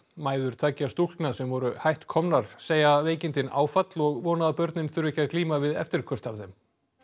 mæður tveggja stúlkna sem voru hætt komnar segja veikindin áfall og vona að börnin þurfi ekki að glíma við eftirköst af þeim